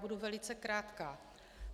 Budu velice krátká.